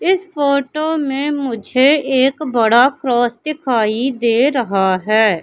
इस फोटो में मुझे एक बड़ा क्रॉस दिखाई दे रहा है।